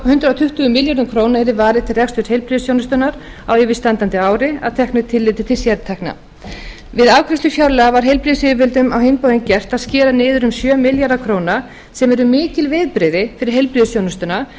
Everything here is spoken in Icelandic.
hundrað tuttugu milljörðum króna yrði varið til rekstrar heilbrigðisþjónustunnar á yfirstandandi ári að teknu tilliti til sértekna við afgreiðslu fjárlaga var heilbrigðisyfirvöldum á hinn bóginn gert að skera niður um sjö milljarða króna sem eru mikil viðbrigði fyrir heilbrigðisþjónustuna